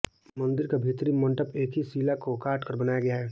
मंदिर का भीतरी मण्डप एक ही शिला को काटकर बनाया गया है